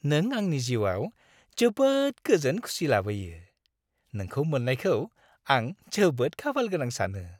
नों आंनि जिउआव जोबोद गोजोन खुसि लाबोयो। नोंखौ मोननायखौ आं जोबोद खाफालगोनां सानो।